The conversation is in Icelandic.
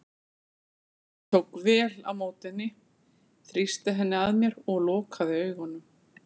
Ég tók vel á móti henni, þrýsti henni að mér og lokaði augunum.